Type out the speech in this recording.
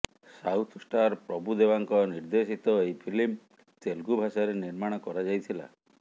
south star ପ୍ରଭୁଦେବାଙ୍କ ନିର୍ଦ୍ଦେଶିତ ଏହି ଫିଲ୍ମ ତେଲୁଗୁ ଭାଷାରେ ନିର୍ମାଣ କରାଯାଇଥିଲା